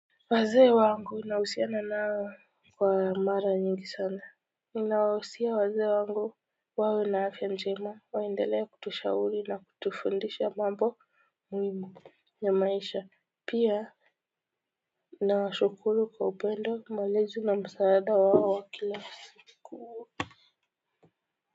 Wazee wangu nahusiana nao kwa mara nyingi sana, ninawahusia wazee wangu wawe na afya njema waendelee kutushauri na kutufundisha mambo. Muhimu ya maisha pia nawa shukuru kwa upendo malezi na msaada wao kila siku.